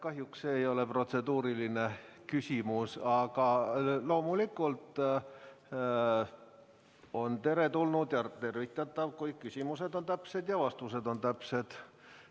Kahjuks see ei ole protseduuriline küsimus, aga loomulikult on teretulnud ja tervitatav, kui küsimused on täpsed ja vastused on täpsed.